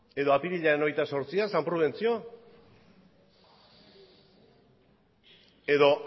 edo apirilaren hogeita zortzia san prudentzio edo